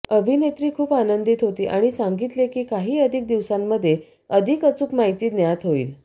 अभिनेत्री खूप आनंदित होती आणि सांगितले की काही अधिक दिवसांमध्ये अधिक अचूक माहिती ज्ञात होईल